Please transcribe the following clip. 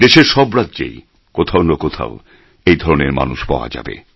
দেশের সব রাজ্যেই কোথাও না কোথাও এই ধরনের মানুষ পাওয়া যাবে